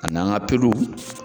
Ka n'an ka